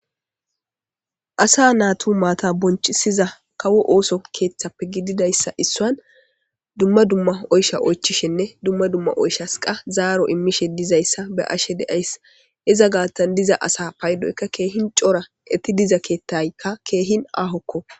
Asa naatu maata bonchisiza kawo ooso keethappe gididayssa issuwan dumma dumma oysha oychishenne dumma dumma oychas zaaro immishe dizayssa be'asshe de'ayssi iza gaathan diza asa paydoyka keehin cora eeti diza keetaykka keehin aahokko.